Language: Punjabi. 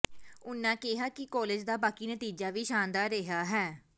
ਉਨ੍ਹਾਂ ਕਿਹਾ ਕਿ ਕਾਲਜ ਦਾ ਬਾਕੀ ਨਤੀਜਾ ਵੀ ਸ਼ਾਨਦਾਰ ਰਿਹਾ ਹੈ